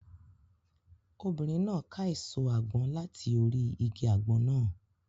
Obìnrin náà ká èso àgbọn láti orí igi àgbọn náà.